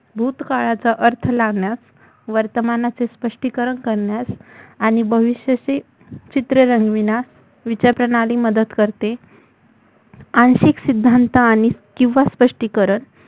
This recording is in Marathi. भूतकाळाचा अर्थ लावण्यास वर्तमानाचे स्पष्टीकरण करण्यास आणि भविष्याचे चित्र रंगविण्यास विचारप्रणाली मदत करते आंशिक सिद्धांत आणि किंवा स्पष्टीकरण